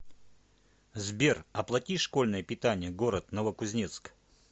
сбер оплати школьное питание город новокузнецк